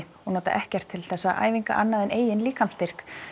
og nota ekkert til þessara æfinga annað en eigin líkamsstyrk